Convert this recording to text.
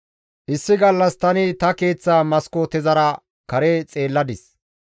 Issi gallas tani ta keeththa maskootezara kare xeelladis.